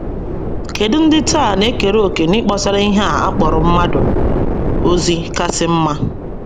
Kedụ ndị taa na - ekere òkè n’ịkpọsara ihe a kpọrọ mmadụ ozi kasị mma?